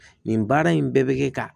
Nin baara in bɛɛ bɛ kɛ ka